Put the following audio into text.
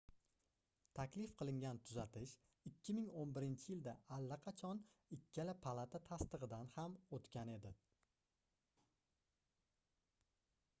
taklif qilingan tuzatish 2011-yilda allaqachon ikkala palata tasdigʻidan ham oʻtgan edi